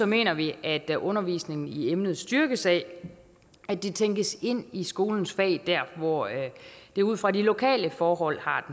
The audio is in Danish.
mener vi at at undervisningen i emnet styrkes af at det tænkes ind i skolens fag dér hvor det ud fra de lokale forhold har